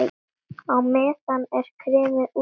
Á meðan er kremið útbúið.